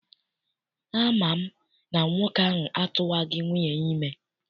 Ama m na nwoke ahụ atụwaghị nwunye ya ime.